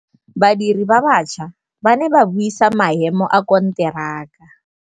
Badiri ba baša ba ne ba buisa maêmô a konteraka.